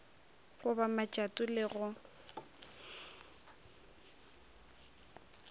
go ba matšato le go